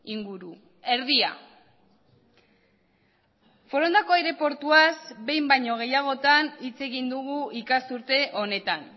inguru erdia forondako aireportuaz behin baino gehiagotan hitz egin dugu ikasturte honetan